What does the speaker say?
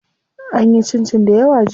An yi cincin dayawa jiya.